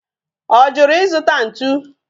Ojuru izuta ntu?